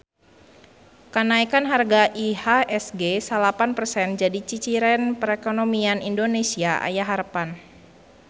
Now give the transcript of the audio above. Kanaekan harga IHSG salapan persen jadi ciciren perekonomian Indonesia aya harepan